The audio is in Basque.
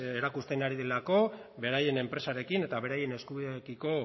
erakusten ari direlako beraien enpresarekin eta beraien eskubideekiko